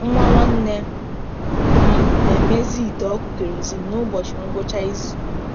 Nwa nwanne m na-emezi ite ọkụ kerosene n’ụbọchị ngwụcha izu.